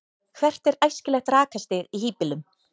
hvert er æskilegt rakastig í hýbýlum